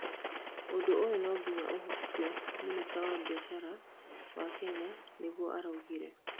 ũndũ ũyũ no nginya ũhukio", minista wa biashara wa Kenya nigũo araugire